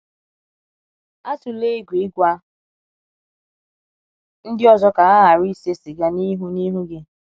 Atụla egwu ịgwa ndị ọzọ ka ha ghara ise siga n’ihu n’ihu gị.